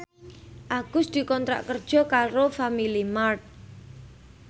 Agus dikontrak kerja karo Family Mart